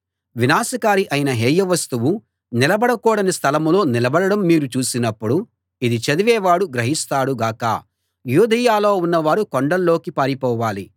వినాశకారి అయిన హేయ వస్తువు నిలబడకూడని స్థలంలో నిలబడడం మీరు చూసినప్పుడు ఇది చదివేవాడు గ్రహిస్తాడు గాక యూదయలో ఉన్నవారు కొండల్లోకి పారిపోవాలి